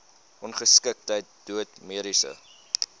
ongeskiktheid dood mediese